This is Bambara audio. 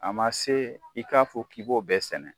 A ma se i k'a fɔ k'i b'o bɛɛ sɛnɛ